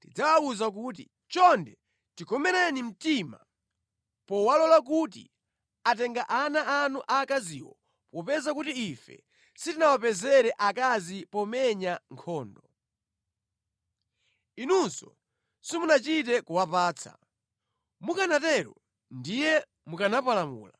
tidzawawuza kuti, ‘Chonde, tikomereni mtima powalola kuti atenga ana anu aakaziwo popeza kuti ife sitinawapezere akazi pomenya nkhondo. Inunso simunachite kuwapatsa. Mukanatero ndiye mukanapalamula.’ ”